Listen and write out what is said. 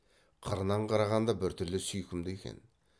қырынан қарағанда біртүрлі сүйкімді екен